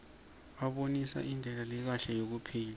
abonisa indlela lekahle yekuphila